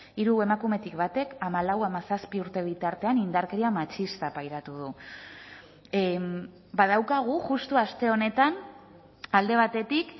hiru emakumetik batek hamalau hamazazpi urte bitartean indarkeria matxista pairatu du badaukagu justu aste honetan alde batetik